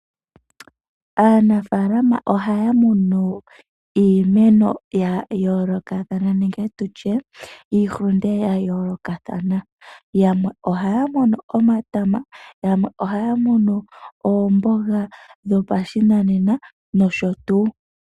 Aanafalama ohaya munu iimeno ya yoolokathana nenge tu tye iihulunde ya ya yoolokathana. Yamwe ohaya munu omatama, yamwe ohaya munu oomboga dho pashinanena nosho tuu.